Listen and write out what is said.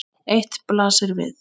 Eitt blasir við.